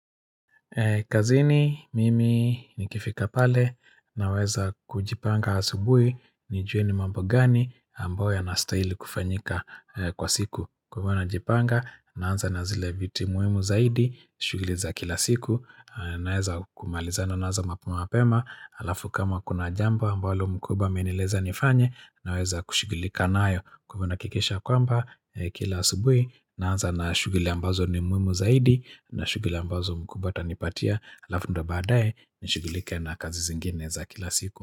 Kazini mimi nikifika pale naweza kujipanga asubuhi nijue ni mambo gani ambayo yanastahili kufanyika kwa siku. Kwa hivyo najipanga naanza na zile vitu muhimu zaidi shughuli za kila siku naweza kumalizana nazo mapema mapema halafu kama kuna jambo ambalo mkubwa amenieleza nifanye naweza kushugilika nayo kwa hivyo nahakkisha kwamba kila asubuhi naanza na shughuli ambazo ni muhimu zaidi na shughuli ambazo mkubwa atanipatia halafu ndio baadaye nishugulike na kazi zingine za kila siku.